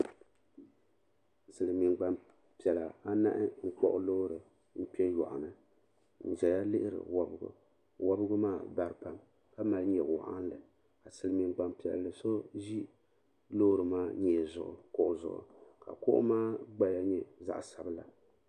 Silimiin gbampiɛla anahi n kpuɣi loori n kpɛ yɔɣuni n zaya lihiri wɔbgu wɔbgu maa baripam ka mali nyewoɣinli ka silimiin gbampiɛlli so ʒi loori maa nyee zuɣu kuɣu zuɣu ka kuɣu maa gbaya nyɛ zaɣa sabla.